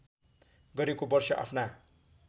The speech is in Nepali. गरेको वर्ष आफ्ना